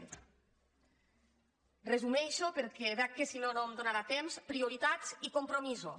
ho resumeixo perquè veig que si no no em donarà temps prioritats i compromisos